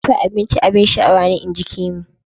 Dafa abinci abin sha'awa ne inji Kemi.